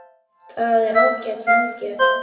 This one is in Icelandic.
Það er ágæt meðgjöf